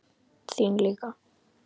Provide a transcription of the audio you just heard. Þín líka.